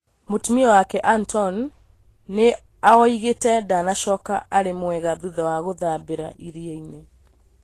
Mũtumia wake Antoine nĩaoigĩte ndanacoka arĩ mwega thutha wa gũthambĩra iria-inĩ